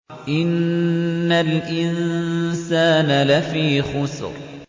إِنَّ الْإِنسَانَ لَفِي خُسْرٍ